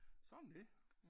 Sådan er det